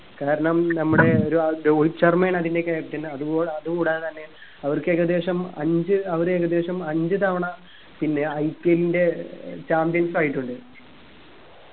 കാരണം നമ്മുടെ ഒരു രോഹിത് ശർമ്മയാണ് അതിന്റെ captain അത് പോ അതുകൂടാതെ തന്നെ അവർക്ക് ഏകദേശം അഞ്ച്‌ അവരേകദേശം അഞ്ച്‌ തവണ പിന്നെ IPL ന്റെ ഏർ champions ആയിട്ടുണ്ട്